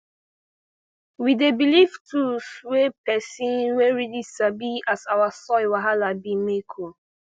we dey belief tools wey person wey really sabi as our soil wahala bi make oh